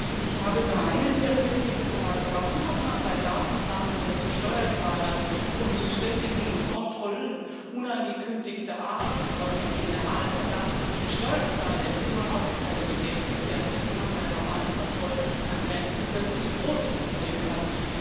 Ich habe nur eine sehr präzise Frage Warum hat man bei Datensammlungen zu Steuerzahlern und bei ständigen Kontrollen unangekündigter Art was ein Generalverdacht gegen Steuerzahler ist überhaupt keine Bedenken, während man bei normalen Kontrollen an Grenzen plötzlich so große Probleme hat?